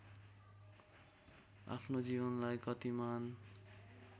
आफ्नो जीवनलाई गतिमान